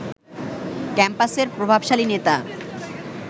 ক্যাম্পাসের প্রভাবশালী নেতা